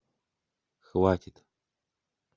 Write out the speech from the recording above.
хватит